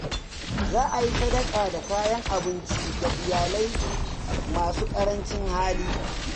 Za a yi sadaka da kayan abinci ga iyalai masu ƙarancin hali.